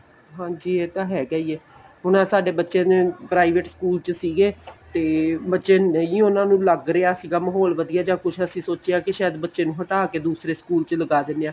ਹਾਂਜੀ ਇਹ ਤਾਂ ਹੈਗਾ ਈ ਏ ਹੁਣ ਆਹ ਸਾਡੇ ਬੱਚੇ ਨੇ private school ਚ ਸੀਗੇ ਤੇ ਬੱਚੇ ਨੇ ਹੀ ਉਹਨਾ ਨੂੰ ਲੱਗ ਰਿਹਾ ਸੀਗਾ ਮਾਹੋਲ ਵਧੀਆ ਜਾਂ ਕੁੱਝ ਅਸੀਂ ਸੋਚਿਆ ਕਿ ਬੱਚੇ ਨੂੰ ਹਟਾ ਕੇ ਦੂਸਰੇ school ਲਗਾ ਦਿਨੇ ਆ